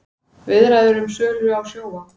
Viðræður um sölu á Sjóvá